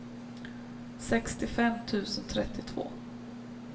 sextiofem tusen trettiotvå